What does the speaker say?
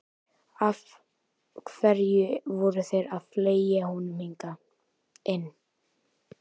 Af hverju voru þeir að fleygja honum hingað inn.